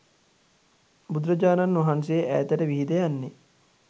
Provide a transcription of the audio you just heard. බුදුරජාණන් වහන්සේ ඈතට විහිද යන්නේ